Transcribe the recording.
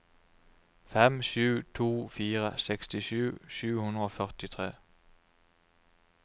fem sju to fire sekstisju sju hundre og førtitre